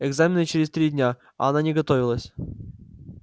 экзамены через три дня а она не готовилась